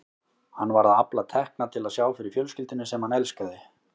Hann var að afla tekna til að sjá fyrir fjölskyldunni sem hann elskaði.